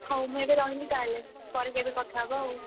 ହଉ ମୁଁ ଏବେ ରହିଲି ତାହେଲେ, ପରେ କେବେ କଥା ହବା ଆଉ,